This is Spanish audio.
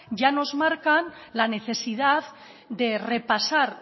ya nos marcan la necesidad de repasar